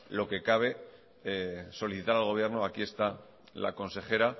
lo que cabe solicitar al gobierno aquí está la consejera